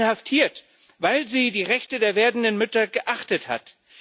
Inhaftiert, weil sie die Rechte der werdenden Mütter geachtet hat.